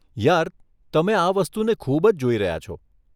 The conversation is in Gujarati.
યાર, તમે આ વસ્તુને ખૂબ જ જોઈ રહ્યા છો.